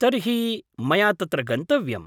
तर्हि मया तत्र गन्तव्यम्।